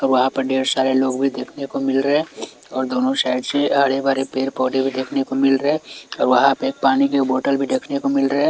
और वहाँ पे ढेर सारे लोग भी देखने को मिल रहे और दोनों साइड से हरे-भरे पेड़-पौधे देखने को मिल रहे और वहाँ पे पानी की बोतल भी देखने को मिल रहे --